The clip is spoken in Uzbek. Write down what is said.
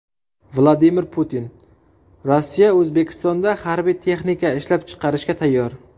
Vladimir Putin: Rossiya O‘zbekistonda harbiy texnika ishlab chiqarishga tayyor.